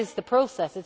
That is the process.